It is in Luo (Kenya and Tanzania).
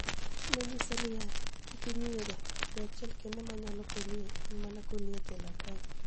noniyiSaa niiya: "Kik inig'i ani ega. Yo achiel kenide ma aniyalo koniyie eni mania goloi e jela kae".